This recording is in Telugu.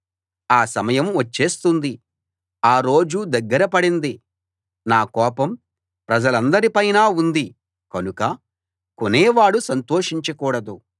ఆ సమయం వచ్చేస్తుంది ఆ రోజు దగ్గర పడింది నా కోపం ప్రజలందరి పైనా ఉంది కనుక కొనేవాడు సంతోషించకూడదు